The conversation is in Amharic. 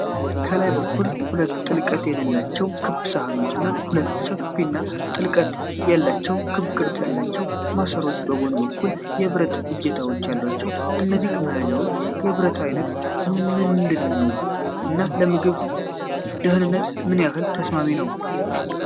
ከላይ በኩል ሁለት ጥልቀት የሌላቸው ክብ ሳህኖች እና ሁለት ሰፊና ጥልቀት ያላቸው ክብ ቅርጽ ያላቸው ማሰሮዎች በጎን በኩል የብረት እጀታዎች አሏቸው። የእነዚህ መያዣዎች የብረት ዓይነት ምንድን ነው እና ለምግብ ደህንነት ምን ያህል ተስማሚ ነው?